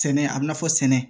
Sɛnɛ a bi na fɔ sɛnɛ